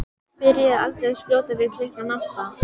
Byrjuðu aldrei að skjóta fyrir klukkan átta.